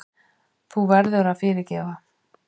Þú verður að fyrirgefa.